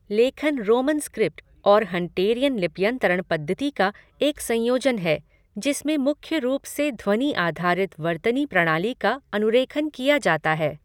लेखन Roman script और Hunterian लिप्यंतरण पद्धति का एक संयोजन है जिसमें मुख्य रूप से ध्वनि आधारित वर्तनी प्रणाली का अनुरेखण किया जाता है।